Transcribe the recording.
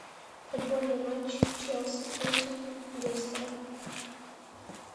футбольный матч челси против лестера